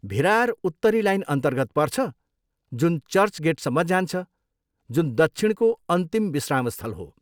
भिरार उत्तरी लाइनअन्तर्गत पर्छ जुन चर्चगेटसम्म जान्छ, जुन दक्षिणको अन्तिम विश्रामस्थल हो।